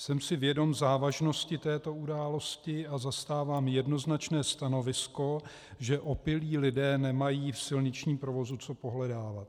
Jsem si vědom závažnosti této události a zastávám jednoznačné stanovisko, že opilí lidé nemají v silničním provozu co pohledávat.